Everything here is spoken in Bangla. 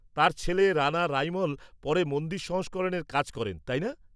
-তাঁর ছেলে রাণা রাইমল পরে মন্দির সংস্করণের কাজ করেন, তাই না?